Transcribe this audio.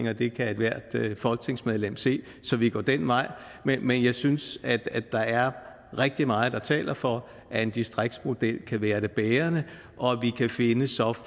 at det kan ethvert folketingsmedlem se så vi går den vej men men jeg synes at der er rigtig meget der taler for at en distriktsmodel kan være det bærende